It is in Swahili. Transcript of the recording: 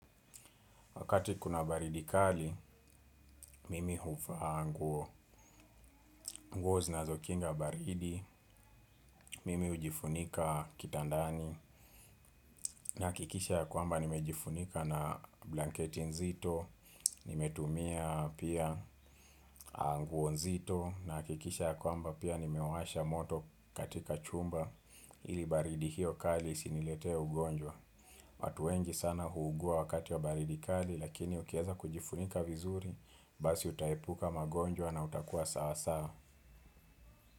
Wakati kuna baridi kali, mimi huvaa nguo nguo zinazo kinga baridi, mimi hujifunika kitandani, nahakikisha ya kwamba nimejifunika na blanketi nzito, nimetumia pia nguo nzito, nahakikisha ya kwamba pia nimewasha moto katika chumba, ili baridi hiyo kali isiniletee ugonjwa. Watu wengi sana huugua wakati wa baridi kali lakini ukieza kujifunika vizuri basi utaepuka magonjwa na utakua sawa sawa.